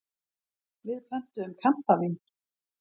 Við pöntuðum kampavín.